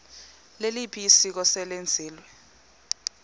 liliphi isiko eselenziwe